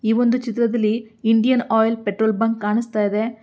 ಈ ಒಂದು ಚಿತ್ರದಲ್ಲಿ ಇಂಡಿಯನ್ ಪೆಟ್ರೋಲ್ ಬಂಕ್ ಕಾಣಿಸ್ತಾಯಿದೆ.